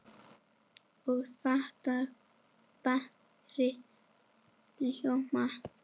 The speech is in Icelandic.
Og láta dægrin ljóma.